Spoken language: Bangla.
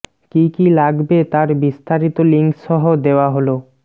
কি কি লাগবে তার বিস্তারিত লিংক সহ দেওয়া হলঃ